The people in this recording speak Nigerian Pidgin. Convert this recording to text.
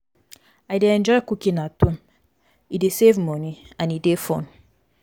i dey enjoy cooking at home; e dey save money and e dey fun.